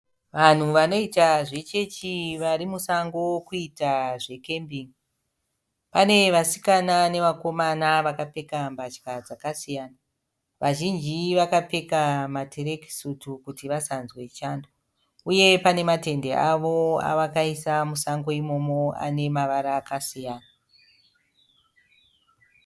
Vanhu vanoita zvechechi vari musango kuita zvekembingi. Pane vasikana nevakomana vakapfeka mbatya dzakasiyana. Vazhinji vakapfeka matirekisutu kuti vasanzwe chando uye pane matende avo avakaisa musango imomo ane mavara akasiyana.